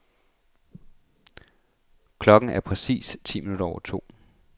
Klokken er præcis ti minutter over to.